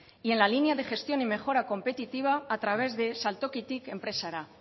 y en la línea de gestión y mejora competitiva a través de saltokitik enpresara